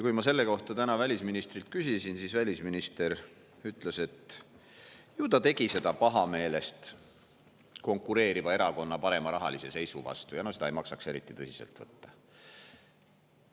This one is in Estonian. Kui ma täna välisministrilt selle kohta küsisin, siis välisminister ütles, et ju ta tegi seda pahameelest konkureeriva erakonna parema rahalise seisu vastu, seda ei maksaks eriti tõsiselt võtta.